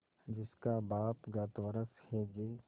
जिसका बाप गत वर्ष हैजे